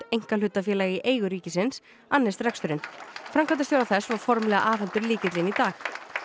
einkahlutafélag í eigu ríkisins annist reksturinn framkvæmdastjóra þess var formlega afhentur lykillinn í dag